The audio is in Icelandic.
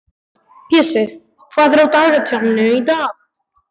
Pési, hvað er á dagatalinu í dag?